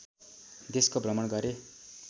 देशको भ्रमण गरे